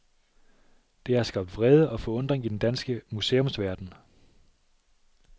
Det har skabt vrede og forundring i den danske museumsverden.